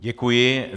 Děkuji.